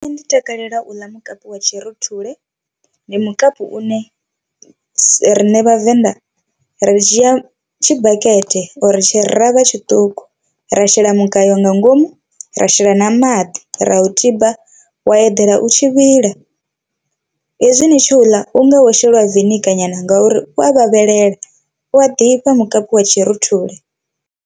Nṋe ndi takalela u ḽa mukapu wa tshi rothule, ndi mukapu une rine vhavenḓa ri dzhia tshibakete uri tshi ravha tshiṱuku ra shela mugayo nga ngomu ra shela na maḓi ra u tiba wa eḓela u tshi vhila. Hezwi ni tshi uḽa u ngaho sheliwa venigar nyana ngauri u a vhavhelela u a ḓifha mukapi wa tshiruthule.